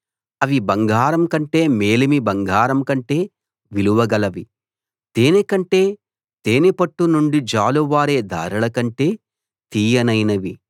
అవి బంగారం కంటే మేలిమి బంగారం కంటే విలువ గలవి తేనె కంటే తేనెపట్టు నుండి జాలువారే ధారలకంటే తీయనైనవి